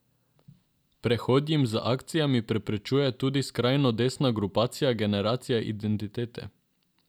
Prehod jim z akcijami preprečuje tudi skrajno desna grupacija Generacija identitete.